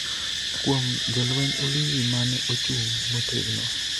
kuom jolweny Ulinzi mane ochung' motegno